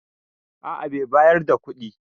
A a bai bayar da kuɗi.